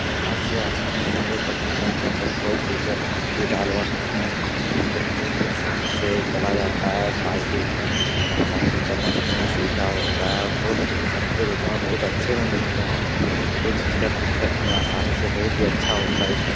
यहाँ से आसानी से हम लोग पेट्रोल पंप पर पेट्रोल डीजल कुछ भी डलवा सकते हैं बहुत ही आसनी से डाला जाता है बाइक उइक मे आसानी से चलने फिरने में सुविधा होता है और बहुत सस्ते रेट में बहुत अच्छे मे मिलते हैं कोई चीज का दिक्कत नही आसानी से बहुत ही अच्छा होता है इ सब ।